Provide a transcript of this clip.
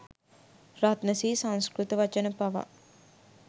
රත්න ශ්‍ර්‍රී සංස්කෘත වචන පවා